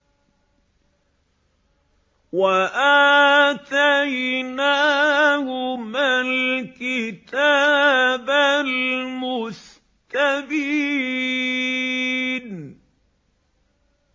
وَآتَيْنَاهُمَا الْكِتَابَ الْمُسْتَبِينَ